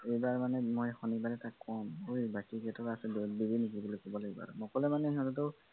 এইবাৰ মানে মই শনিবাৰে তাক কম অই বাকীকিটকা আছে দিবি নেকি বুলি কব লাগিব নকলে মানে সিহঁতৰ